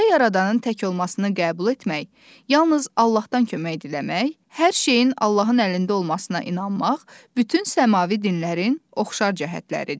Uca yaradanın tək olmasını qəbul etmək, yalnız Allahdan kömək diləmək, hər şeyin Allahın əlində olmasına inanmaq bütün səmavi dinlərin oxşar cəhətləridir.